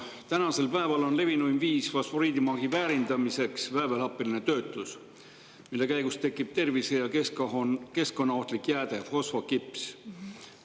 Tänapäeval on levinuim viis fosforiidimaagi väärindamiseks väävelhappeline töötlus, mille käigus tekib tervise- ja keskkonnaohtlik jääde fosfokips.